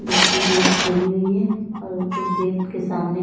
जिसकी गेट खोली हुई है और उस गेट के सामने--